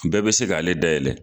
Bɛɛ be se k'ale dayɛlɛ